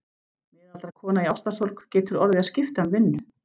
Miðaldra kona í ástarsorg getur orðið að skipta um vinnu.